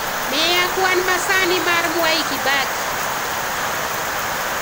miya kwan masani mar mwai kibaki